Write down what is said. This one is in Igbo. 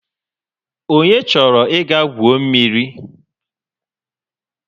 Onye chọrọ ịga gwu mmiri?